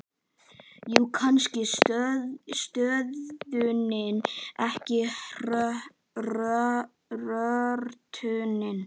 Jú, kannski stöðnunin, en ekki hrörnunin.